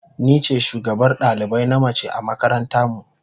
Ni ce shugabar dalibai na mace a makaranta mu.